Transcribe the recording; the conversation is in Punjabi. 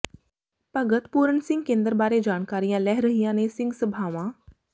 ਭਗਤ ਪੂਰਨ ਸਿੰਘ ਕੇਂਦਰ ਬਾਰੇ ਜਾਣਕਾਰੀਆਂ ਲੈ ਰਹੀਆਂ ਨੇ ਸਿੰਘ ਸਭਾਵਾਂ